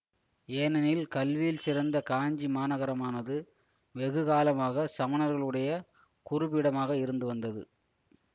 ஏனெனில் கல்வியிற் சிறந்த காஞ்சி மாநகரமானது வெகு காலமாக சமணர்களுடைய குருபீடமாக இருந்து வந்தது